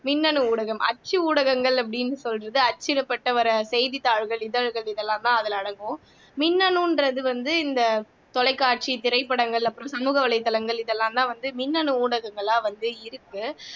மின்னணு ஊடகம் அச்சு ஊடகங்கள்அப்படின்னு சொல்றது அச்சுல பட்டு வர்ற செய்தி தாள்கள் இதழ்கள் இதெல்லாந்தான் அதுல அடங்கும் மின்னணுன்றது வந்து இந்த தொலைக்காட்சி திரைப்படங்கள் அப்புறம் சமூக வலைத்தளங்கள் இதெல்லாந்தான் வந்து மின்னணு ஊடகங்களா வந்து இருக்கு